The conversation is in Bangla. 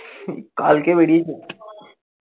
কালকে বেরিয়েছিলাম